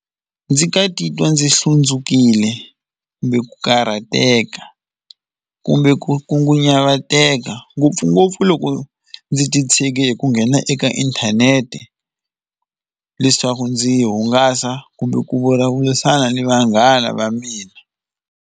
Ndzi nga titwa ndzi hlundzukile kumbe ku karhateka kumbe ku khunguvanyeka ngopfungopfu loko ndzi titshege hi ku nghena eka inthanete, leswaku ndzi hungasa kumbe ku vulavurisana ni vanghana va mina.